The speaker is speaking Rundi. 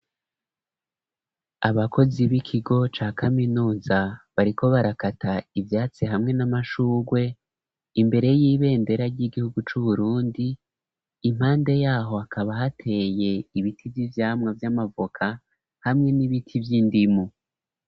Abakozi b'ikigo ca kaminuza bariko barakata ivyatsi hamwe n'amashurwe imbere y'ibendera ry'igihugu c'Uburundi. Impande yaho akaba hateye ibiti vy'ivyamwa vy'amavoka hamwe n'ibiti vy'indimu.